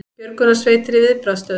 Björgunarsveitir í viðbragðsstöðu